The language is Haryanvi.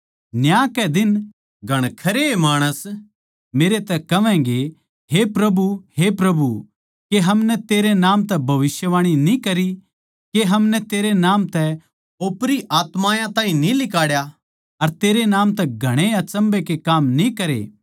न्याय के दिन घणखरेए माणस मेरै तै कहवैगें हे प्रभु हे प्रभु के हमनै तेरै नाम तै भविष्यवाणी न्ही करी के हमनै तेरै नाम तै ओपरी आत्मायाँ ताहीं न्ही लिकाड्या अर तेरै नाम तै घणेए अचम्भै के काम न्ही करे